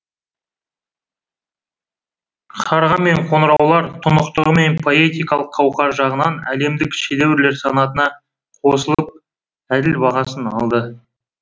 қарға мен қоңыраулар тұнықтығы мен поэтикалық қауқары жағынан әлемдік шедеврлер санатына қосылып әділ бағасын алды